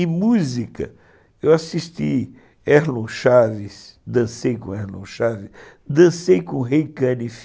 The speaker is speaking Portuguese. E música, eu assisti Erlon Chaves, dancei com Erlon Chaves, dancei com o Ray Caniff.